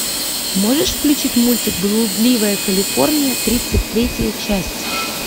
можешь включить мультик блудливая калифорния тридцать третья часть